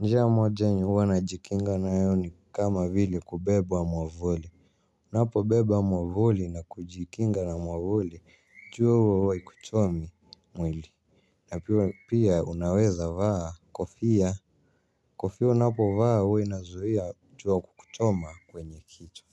Njia moja yenye huwa najikinga nayo ni kama vile kubeba mwavuli. Ninapo beba mwavuli na kujikinga na mwavuli jua huwa haikuchomi mwili. Na pia unaweza vaa kofia. Kofia unapo vaa huwa inazuia jua kukuchoma kwenye kichwa.